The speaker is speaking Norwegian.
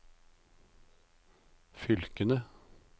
fylkene